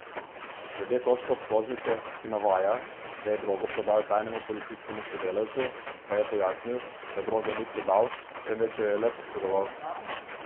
Glede točke obtožnice, ki navaja, da je drogo prodal tajnemu policijskemu sodelavcu, pa je pojasnil, da droge ni prodal, temveč jo le posredoval.